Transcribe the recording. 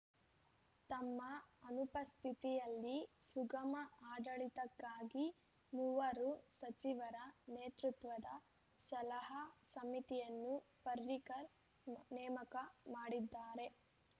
ತಮ್ಮ ಅನುಪಸ್ಥಿತಿಯಲ್ಲಿ ಸುಗಮ ಆಡಳಿತಕ್ಕಾಗಿ ಮೂವರು ಸಚಿವರ ನೇತೃತ್ವದ ಸಲಹಾ ಸಮಿತಿಯನ್ನು ಪರ್ರಿಕರ್‌ ನೇಮಕ ಮಾಡಿದ್ದಾರೆ